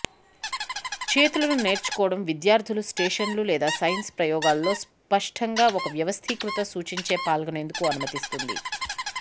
చేతులు న నేర్చుకోవడం విద్యార్థులు స్టేషన్లు లేదా సైన్స్ ప్రయోగాలు లో స్పష్టంగా ఒక వ్యవస్థీకృత సూచించే పాల్గొనేందుకు అనుమతిస్తుంది